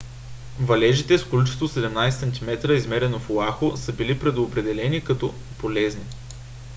валежите с количество 17 см измерено в оаху са били определени като полезни